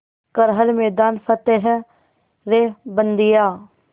कर हर मैदान फ़तेह रे बंदेया